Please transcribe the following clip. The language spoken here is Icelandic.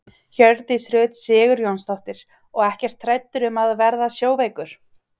Hjördís Rut Sigurjónsdóttir: Og ekkert hræddur um að verða sjóveikur?